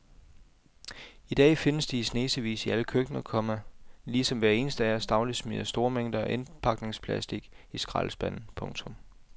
I dag findes de i snesevis i alle køkkener, komma ligesom hver eneste af os dagligt smider store mængder af indpakningsplastic i skraldespanden. punktum